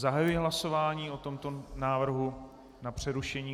Zahajuji hlasování o tomto návrhu na přerušení.